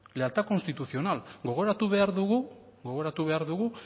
lealtad constitucional gogoratu behar dugu